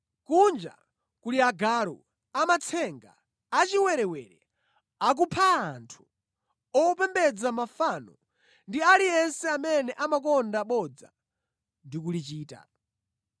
Kunja kuli agalu, amatsenga, achiwerewere, akupha anthu, opembedza mafano ndi aliyense amene amakonda bodza ndi kulichita.